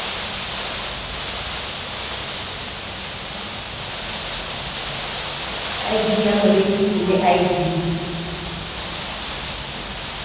id ya morekisi le id